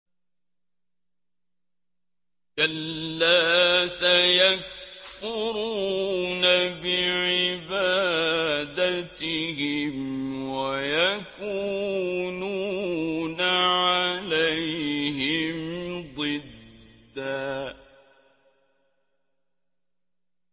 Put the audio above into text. كَلَّا ۚ سَيَكْفُرُونَ بِعِبَادَتِهِمْ وَيَكُونُونَ عَلَيْهِمْ ضِدًّا